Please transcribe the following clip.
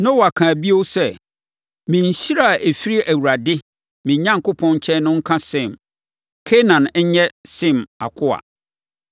Noa kaa bio sɛ, “Me nhyira a ɛfiri Awurade, me Onyankopɔn, nkyɛn no nka Sem! Kanaan nyɛ Sem akoa.